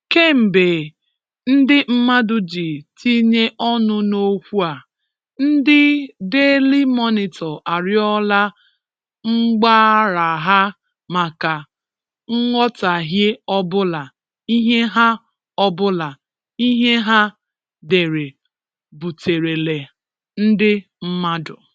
Kèmbèè ndị̀ mmadụ̀ ji tìnyè̀ ọnụ n’okwù a, ndị̀ Daily Monitor àrịọ̀là mgbàràghà makà ‘nghọ̀taghìè ọbụ̀là’ ihè hà ọbụ̀là’ ihè hà dèrè̀ butèrèlà ndị̀ mmadụ̀